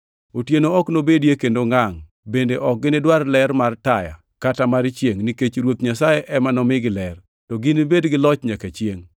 Otieno ok nobedie kendo ngangʼ bende ok ginidwar ler mar taya kata ler mar chiengʼ, nikech Ruoth Nyasaye ema nomigi ler. To ginibed gi loch nyaka chiengʼ.